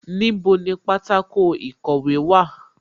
Níbo ni pátákó ìkọ̀wé wà?